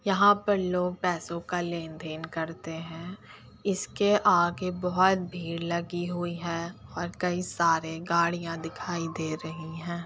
यहाँ पर लोग पैसों का लेन-देन करते हैं इसके आगे बोहोत भीड़ लगी हुई है और कई सारी गाड़ियां दिखाई दे रही हैं।